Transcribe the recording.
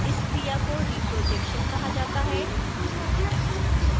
इस क्रिया को reprojection कहा जाता है